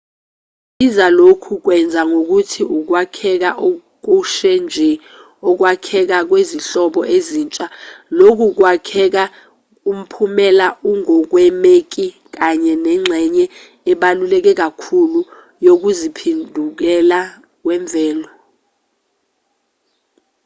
sibiza lokhu kwenza ngokuthi ukwakheka okushe nje ukwakhekha kwezinhlobo ezintsha lokhu kwakheka umphumela ongakwemeki kanye nengxenye ebaluleke kakhulu yokuziphendukela kwemvelo